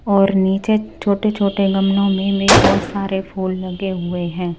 और नीचे छोटे-छोटे गमलों में भी बहुत सारे फूल लगे हुए हैं।